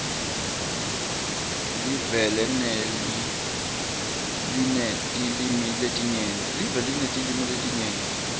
lelive linetilwimi letinyenti